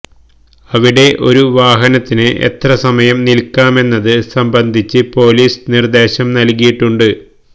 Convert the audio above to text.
അവിടെ ഒരു വാഹനത്തിന് എത്രസമയം നിൽക്കാമെന്നത് സംബന്ധിച്ച് പൊലീസിന് നിർദേശം നൽകിയിട്ടുണ്ട്